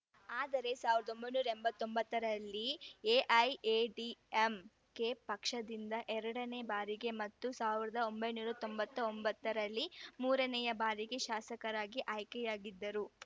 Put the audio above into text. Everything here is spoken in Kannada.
ಆದರೆ ಸಾವಿರದ ಒಂಬೈನೂರ ಎಂಬತ್ತ್ ಒಂಬತ್ತು ರಲ್ಲಿ ಎಐಎಡಿಎಂಕೆ ಪಕ್ಷದಿಂದ ಎರಡನೇ ಬಾರಿಗೆ ಮತ್ತು ಸಾವಿರದ ಒಂಬೈನೂರ ತೊಂಬತ್ತ್ ಒಂಬತ್ತ ರಲ್ಲಿ ಮೂರನೇ ಬಾರಿಗೆ ಶಾಸಕರಾಗಿ ಆಯ್ಕೆಯಾಗಿದ್ದರು